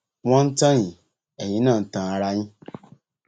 wọn ń tàn yín ẹyin náà ń tan ara yín